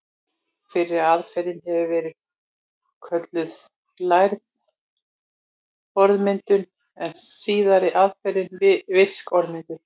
Fyrri aðferðin hefur verið kölluð lærð orðmyndun en síðari aðferðin virk orðmyndun.